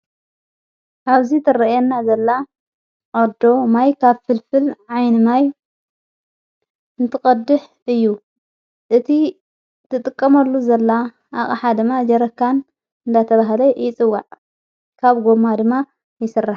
ኣብዚ ተርአና ዘላ ቕዶ ማይ ካብ ፍልፍል ዓይኒማይ ንትቐድሕ እዩ እቲ ትጥቀመሉ ዘላ ኣቐ ሓድማ ጀረካን እንዳተብሃለ ይጽዋዕ ካብ ጐማ ድማ ይሠር::